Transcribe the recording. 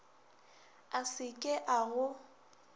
a se ke a go